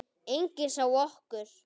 Enginn sá okkur.